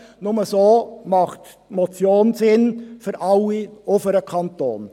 Nur so macht die Motion Sinn für alle und für den Kanton.